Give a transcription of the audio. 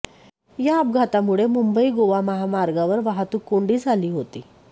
या अपघातामुळे मुंबई गोवा महामार्गावर वाहतूक कोंडी झाली होती